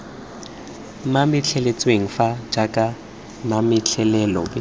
mametleletswe fano jaaka mametlelelo b